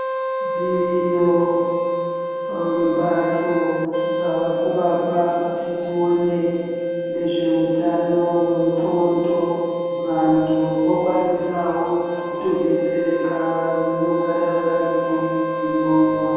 Dziriyo mbatso dzavakuvakwa kuti dzione nezveutano wendxondo. Vanthu vokwanisawo kutodetsereka veindogara varimwo umwomwo.